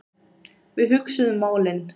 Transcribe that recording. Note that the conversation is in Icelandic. Við hugsuðum málin.